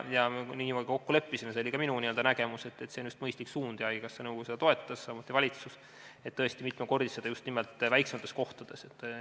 Nii me kokku leppisime ja see oli ka minu nägemus ning haigekassa nõukogu seda suunda toetas, samuti valitsus, et tõesti raha mitmekordistada just nimelt väiksemates kohtades.